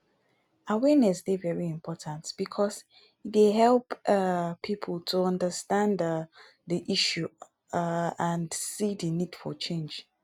awareness dey very important because e dey help um people to understand um di issue um and see di need for change.